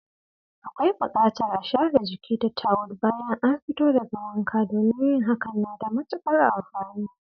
Akwai bukatar a share jiki da tawul bayan an fito daga wanka, domin yin hakan na da matukar amfani.